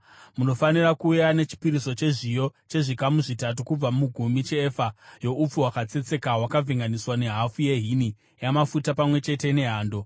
munofanira kuuya nechipiriso chezviyo chezvikamu zvitatu kubva mugumi cheefa youpfu hwakatsetseka hwakavhenganiswa nehafu yehini yamafuta pamwe chete nehando.